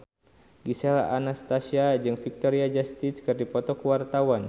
Gisel Anastasia jeung Victoria Justice keur dipoto ku wartawan